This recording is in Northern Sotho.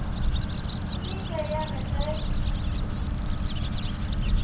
e ile ya re ge